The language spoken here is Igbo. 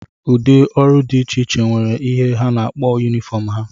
Ụdị ọrụ dị iche iche nwere ihe ha na-akpọ yunifọm ha